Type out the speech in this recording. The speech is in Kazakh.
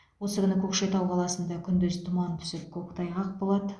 осы күні көкшетау қаласында күндіз тұман түсіп көктайғақ болады